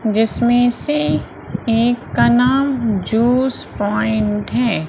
जिसमें से एक का नाम जूस प्वाइंट है।